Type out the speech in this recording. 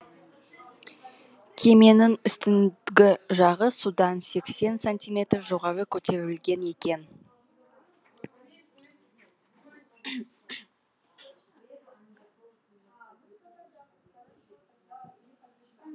кеменің үстіңгі жағы судан сексен сантиметр жоғары көтерілген екен